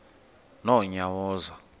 nonyawoza